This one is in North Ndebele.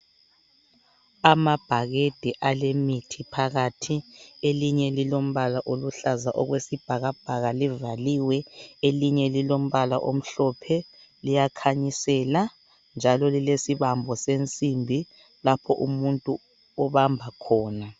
Amabhakede alemithi phakathi. Elinye lilombala oluhlaza okwesibhakabhaka livaliwe, elinye lilombala omhlophe liyakhanyisela njalo lilesibambo sensimbi lapho umuntu obamba khona.